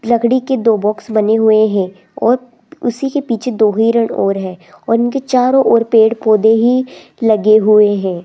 लकड़ी के दो बॉक्स बने हुए है और उसी के पीछे दो हिरन और है और उनके चारों ओर पेड़ पौधे ही लगे हुए है।